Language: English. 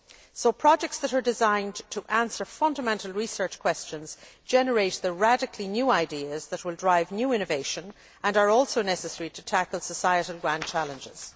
So projects that are designed to answer fundamental research questions generate the radically new ideas that will drive new innovation and are also necessary to tackle society's grand challenges.